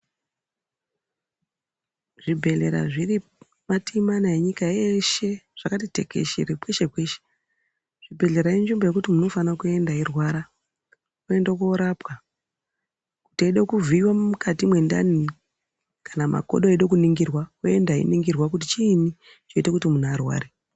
Zvibhedhlera zviro matii mana enyika eshe zvakati tekeshere kweshe kweshe, zvibhedhlera inzvimbo yekuti munthu unofana kuenda eirwara oende koorapwa, kuti eide kuvhiiwe mukati mwendani kana makodo eide kuningirwa oenda einingirwa kuti chiini chinoite kuti munthu arware.